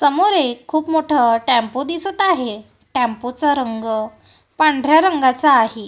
समोर एक खूप मोठं टेम्पो दिसत आहे टेम्पोचा रंग पांढऱ्या रंगाचा आहे.